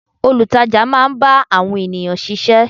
Olutaja máa ń bá àwọn ènìyàn sise.